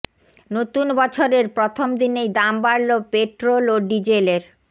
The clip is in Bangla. নতুন বছরের প্রথম দিনেই দাম বাড়ল পেট্রোল ও ডিজেলের